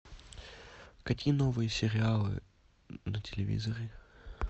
какие новые сериалы на телевизоре